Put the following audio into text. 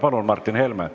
Palun, Martin Helme!